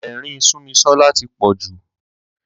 Ẹ̀rín Súnmisọ́lá tí pọ̀ jù.